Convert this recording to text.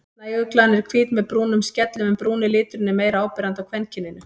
Snæuglan er hvít með brúnum skellum en brúni liturinn er meira áberandi á kvenkyninu.